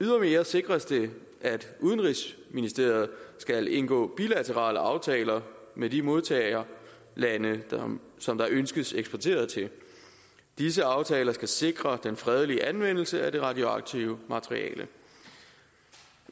ydermere sikres det at udenrigsministeriet skal indgå bilaterale aftaler med de modtagerlande som der ønskes eksporteret til disse aftaler skal sikre den fredelige anvendelse af det radioaktive materiale